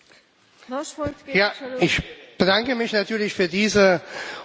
Ich bedanke mich natürlich für diese hochinteressante Frage.